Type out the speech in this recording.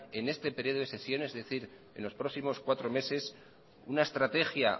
en este periodo de sesiones es decir en los próximos cuatro meses una estrategia